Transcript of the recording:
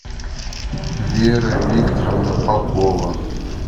вера викторовна попова